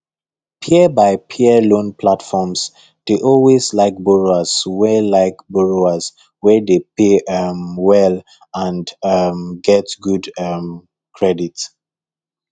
peer by peer loan platforms dey always like borrowers wey like borrowers wey dey pay um well and um get good um credit